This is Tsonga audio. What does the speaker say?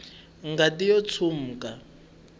ngati yo tshwuka